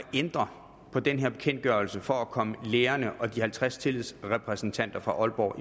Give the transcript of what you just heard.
ændre på den her bekendtgørelse for at komme lærerne og de halvtreds tillidsrepræsentanter fra aalborg